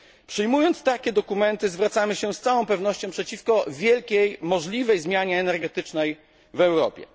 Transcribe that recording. Przyjmując takie dokumenty, zwracamy się z całą pewnością przeciwko wielkiej, możliwej zmianie energetycznej w Europie.